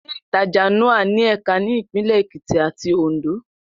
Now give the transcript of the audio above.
Ilé-ìtajà Nao ní ẹ̀ka ní Ìpínlẹ̀ Èkìtì àti Òǹdó